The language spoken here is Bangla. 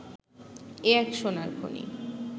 এ এক সোনার খনি